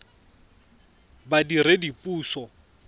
badiredipuso